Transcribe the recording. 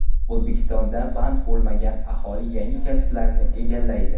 O‘zbekistonda band bo‘lmagan aholi yangi kasblarni egallaydi.